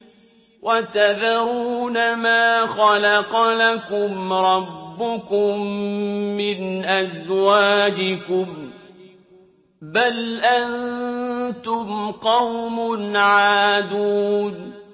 وَتَذَرُونَ مَا خَلَقَ لَكُمْ رَبُّكُم مِّنْ أَزْوَاجِكُم ۚ بَلْ أَنتُمْ قَوْمٌ عَادُونَ